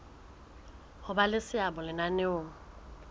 ho ba le seabo lenaneong